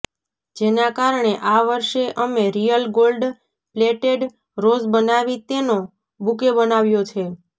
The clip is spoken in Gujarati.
જેના કારણે આ વર્ષે અમે રીયલ ગોલ્ડ પ્લેટેડ રોઝ બનાવી તેનો બુકે બનાવ્યો છે